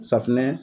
Safinɛ